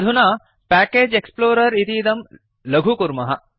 अधुना package explorer इतीदं लघु कुर्मः